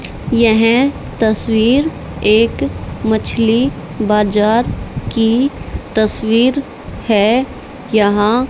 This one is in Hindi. यह तस्वीर एक मछली बाजार की तस्वीर है यहां--